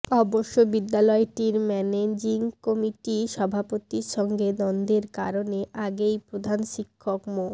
অবশ্য বিদ্যালয়টির managing committee সভাপতির সঙ্গে দ্বন্দ্বের কারণে আগেই প্রধান শিক্ষক মো